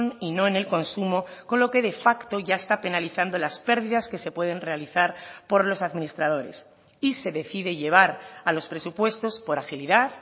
y no en el consumo con lo que de facto ya está penalizando las pérdidas que se pueden realizar por los administradores y se decide llevar a los presupuestos por agilidad